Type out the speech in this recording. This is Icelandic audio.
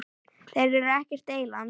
Þeir eru ekkert eyland.